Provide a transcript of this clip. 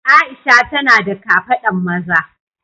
Aisha tana da kafadan maza.